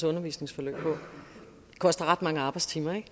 undervisningsforløb på det koster ret mange arbejdstimer ikke